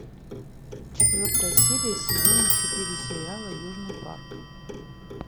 четвертая серия сезона четыре сериала южный парк